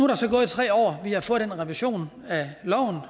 der så gået tre år vi har fået den revision af loven